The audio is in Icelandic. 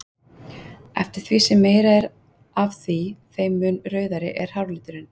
Eftir því sem meira er af því þeim mun rauðari er hárliturinn.